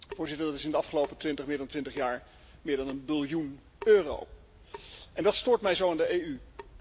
Voorzitter, dat is in de afgelopen 20 jaar, meer dan 20 jaar, meer dan een biljoen euro. En dat stoort mij zo aan de EU.